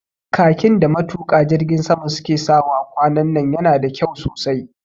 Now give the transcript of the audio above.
Khakin da matuƙa jirgin sama su ke sawa kwanan nan yana da kyau sosai